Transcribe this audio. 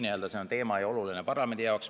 Aga see teema on oluline parlamendi jaoks.